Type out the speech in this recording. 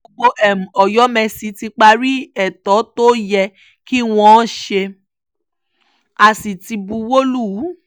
gbogbo ọ̀yọ̀mẹ́sì ti parí ètò tó yẹ kí wọ́n ṣe á sì ti buwọ́ lù ú